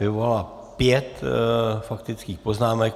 Vyvolala pět faktických poznámek.